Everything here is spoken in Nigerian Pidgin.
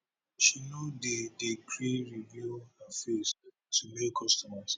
she no dey dey gree reveal her face to male customers